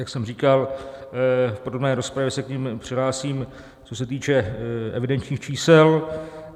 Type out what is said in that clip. Jak jsem říkal, v podrobné rozpravě se k nim přihlásím, co se týče evidenčních čísel.